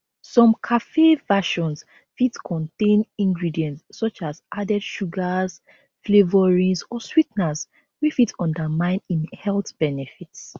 some cafe versions fit contain ingredients such as added sugars flavourings or swee ten ers wey fit undermine im health benefits